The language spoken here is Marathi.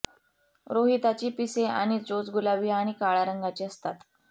रोहिताची पिसे आणि चोच गुलाबी आणि काळ्या रंगाची असतात